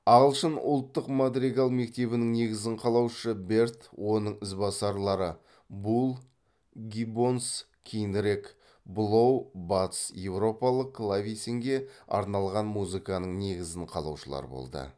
ағылшын ұлттық мадригал мектебінің негізін қалаушы берд оның ізбасарлары булл гиббонс кейінірек блоу батыс еуропалық клавесинге арналған музыканың негізін қалаушылар болды